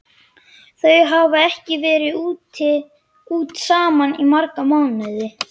Þau hafa ekki farið út saman í marga mánuði.